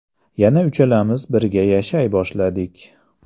Yana uchalamiz birga yashay boshladik.